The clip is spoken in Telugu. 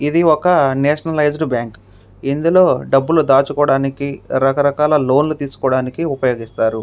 ఇందులో డబ్బులు దాచుకొని రకరకాలుగా ఉపయోగిస్తారు.